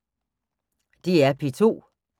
DR P2